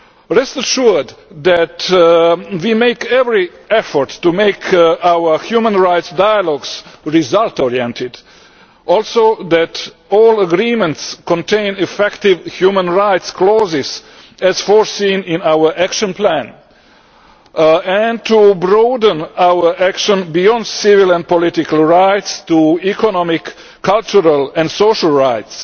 Rest assured that we make every effort to make our human rights dialogues result oriented and to see that all agreements contain effective human rights clauses, as foreseen in our action plan, and to broaden our action beyond civil and political rights to economic cultural and social rights.